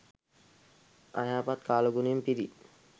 අයහපත් කාලගුණයෙන් පිරි